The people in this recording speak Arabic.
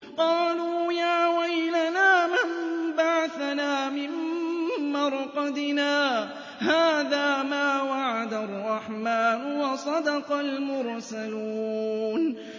قَالُوا يَا وَيْلَنَا مَن بَعَثَنَا مِن مَّرْقَدِنَا ۜۗ هَٰذَا مَا وَعَدَ الرَّحْمَٰنُ وَصَدَقَ الْمُرْسَلُونَ